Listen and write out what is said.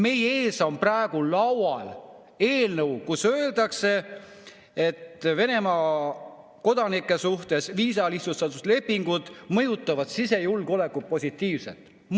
Meie ees laual on eelnõu, kus öeldakse, et Venemaa kodanike suhtes viisalihtsustuslepingud mõjutavad sisejulgeolekut positiivselt.